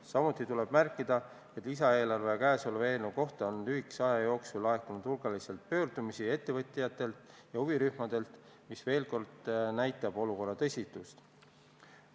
Samuti tuleb märkida, et lisaeelarve ja käesoleva eelnõu kohta on lühikese aja jooksul laekunud hulgaliselt pöördumisi ettevõtjatelt ja huvirühmadelt, mis veel kord näitab olukorra tõsidust.